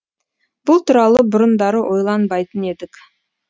бұл туралы бұрындары ойланбайтын едік